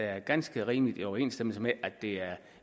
er i ganske rimelig overensstemmelse med at det er